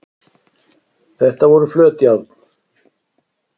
þetta voru flöt járn